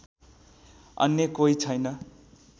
अन्य कोही छैन